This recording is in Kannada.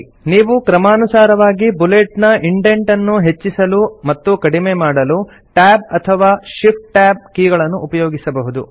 ನೀವು ಕ್ರಮಾನುಸಾರವಾಗಿ ಬುಲೆಟ್ ನ ಇಂಡೆಂಟ್ ಅನ್ನು ಹೆಚ್ಚಿಸಲು ಮತ್ತು ಕಡಿಮೆ ಮಾಡಲು ಟ್ಯಾಬ್ ಅಥವಾ ಶಿಫ್ಟ್ ಟ್ಯಾಬ್ ಕೀಗಳನ್ನು ಉಪಯೋಗಿಸಬಹುದು